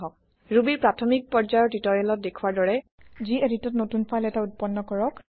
Rubyৰ প্ৰাথমিক পৰ্যায়ৰ টিওটৰিয়েলত দেখুৱাৰ দৰে geditত নতুন ফাইল এটা উত্পন্ন কৰক